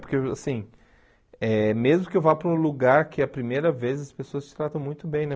Porque, assim, eh mesmo que eu vá para um lugar que é a primeira vez, as pessoas te tratam muito bem, né?